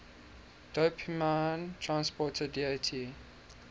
dopamine transporter dat